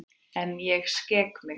En ég skek mig.